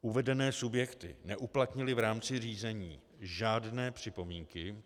Uvedené subjekty neuplatnily v rámci řízení žádné připomínky.